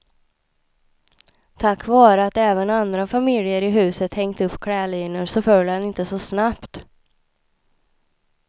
Tack vare att även andra familjer i huset hängt upp klädlinor så föll han inte så snabbt.